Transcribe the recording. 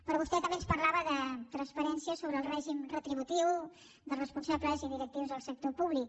però vostè també ens parlava de transparència sobre el règim retributiu dels responsables i directius del sector públic